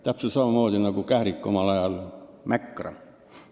Täpselt samamoodi nagu kährik omal ajal mägra.